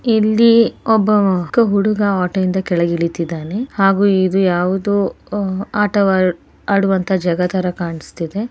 ಇಲ್ಲಿ ಒಬ್ಬ ಹುಡುಗ ಆಟೋ ದಿಂದ ಕೆಳಗೆ ಇಳಿತ್ತಿದ್ದಾನೆ ಹಾಗೆ ಇದು ಯಾವುದು ಆಟವಾ ಆಟವಾಡುವಂತ ಜಗತರ ಕಾಣಸ್ತಿದೆ.